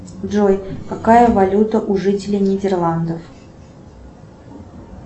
джой какая валюта у жителей нидерландов